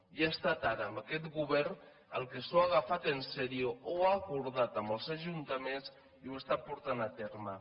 i ha estat ara amb aquest govern el que s’ho ha agafat seriosament ho ha acordat amb els ajuntaments i ho està portant a terme